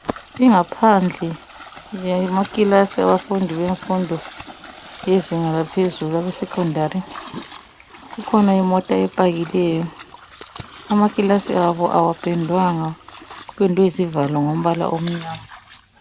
Ingaphadle yemakilasi yabafundi befundo yezinga laphezulu esecondary kukhona imota epakileyo amakilasi abo akapendwang kupendwe izivalo ngombala omnyama